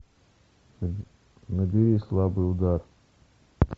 набери слабый удар